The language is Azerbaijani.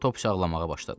Topsy ağlamağa başladı.